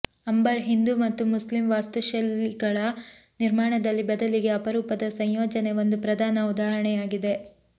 ಅಂಬರ್ ಹಿಂದೂ ಮತ್ತು ಮುಸ್ಲಿಂ ವಾಸ್ತುಶೈಲಿಗಳ ನಿರ್ಮಾಣದಲ್ಲಿ ಬದಲಿಗೆ ಅಪರೂಪದ ಸಂಯೋಜನೆ ಒಂದು ಪ್ರಧಾನ ಉದಾಹರಣೆಯಾಗಿದೆ